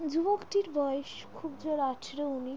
যুবকটির বয়স খুব জোর আটারো উনি--